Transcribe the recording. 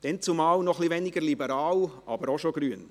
Dannzumal noch etwas weniger liberal, aber auch schon grün.